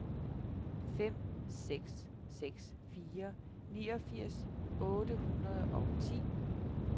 fem seks seks fire niogfirs otte hundrede og ti